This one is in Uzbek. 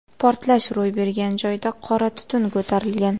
Portlash ro‘y bergan joyda qora tutun ko‘tarilgan.